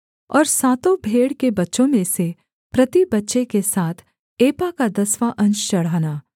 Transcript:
और सातों भेड़ के बच्चों में से प्रति बच्चे के साथ एपा का दसवाँ अंश चढ़ाना